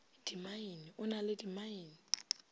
dimmaene o na le dimmaene